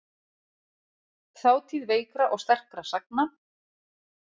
Þátíð veikra og sterkra sagna.